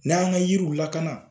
N'an ka yiriw lakana